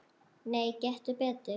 Nei, gettu betur